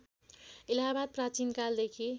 इलाहाबाद प्राचीन कालदेखि